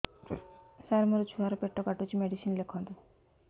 ସାର ମୋର ଛୁଆ ର ପେଟ କାଟୁଚି ମେଡିସିନ ଲେଖନ୍ତୁ